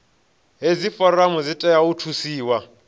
hedzi foramu dzi fanela u thusiwa